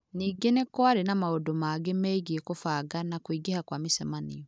Ningĩ nĩ kwarĩ na maũndũ mangĩ megiĩ kũbanga na kũingĩha kwa mĩcemanio.